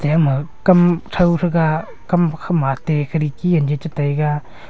yama kam thau thaga kam khama atte khidki ani cha taiga.